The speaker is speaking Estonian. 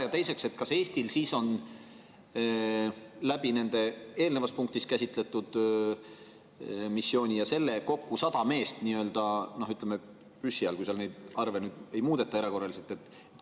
Ja teiseks, kas Eestil siis on eelnevas punktis käsitletud missiooni ja sellega kokku 100 meest nii-öelda püssi all, kui seal neid arve ei muudeta erakorraliselt?